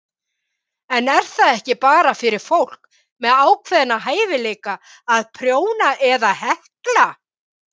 En er það ekki bara fyrir fólk með ákveðna hæfileika að prjóna eða hekla?